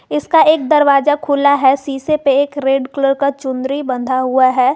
इसका एक दरवाजा खुला है शीशे पे एक रेड कलर का चुनरी बंधा हुआ है।